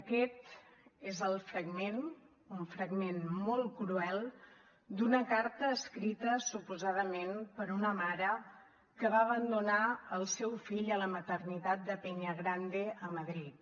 aquest és el fragment un fragment molt cruel d’una carta escrita suposadament per una mare que va abandonar el seu fill a la maternitat de peña grande a madrid